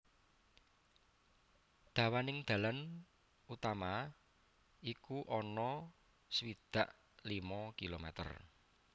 Dawaning dalan utama iku ana swidak limo kilometer